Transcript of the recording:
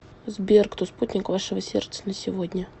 сбер кто спутник вашего сердца на сегодня